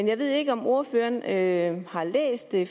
jeg ved ikke om ordføreren har læst det